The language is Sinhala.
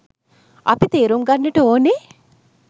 අප තේරුම් ගන්නට ඕනේ.